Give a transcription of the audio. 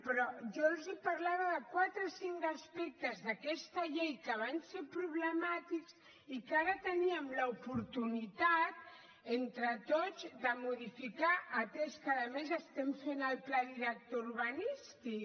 però jo els parlava de quatre o cinc aspectes d’aquesta llei que van ser problemàtics i que ara teníem l’oportunitat entre tots de modificar atès que a més estem fent el pla director urbanístic